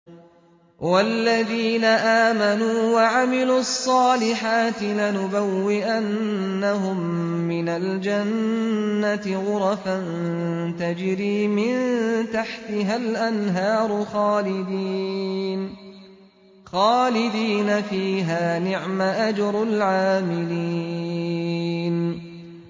وَالَّذِينَ آمَنُوا وَعَمِلُوا الصَّالِحَاتِ لَنُبَوِّئَنَّهُم مِّنَ الْجَنَّةِ غُرَفًا تَجْرِي مِن تَحْتِهَا الْأَنْهَارُ خَالِدِينَ فِيهَا ۚ نِعْمَ أَجْرُ الْعَامِلِينَ